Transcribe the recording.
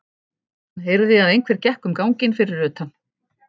Hann heyrði að einhver gekk um ganginn fyrir utan.